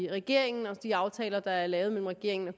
regeringen og de aftaler der er lavet mellem regeringen og